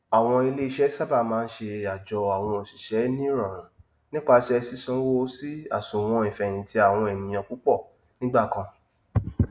èyí jẹ jẹ ìbámu sí mẹta idà mérin àwọn ìsọfúnni àkànlò owó iléifowopamọ cbn